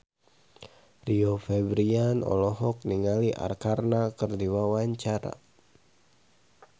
Rio Febrian olohok ningali Arkarna keur diwawancara